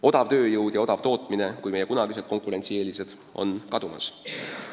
Odav tööjõud ja odav tootmine kui meie kunagised konkurentsieelised on kadumas.